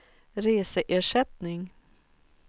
reseersättning